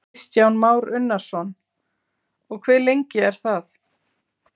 Kristján Már Unnarsson: Og hve lengi er það?